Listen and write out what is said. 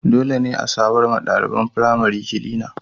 Dole ne a samarwa ɗaliban firamari kilina.